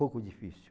Pouco difícil.